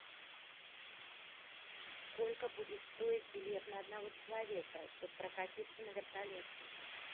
сколько будет стоить билет на одного человека чтобы прокатиться на вертолете